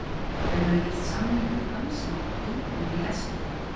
Þau höfðu gert samning við mann sem átti íbúð í Eskihlíð.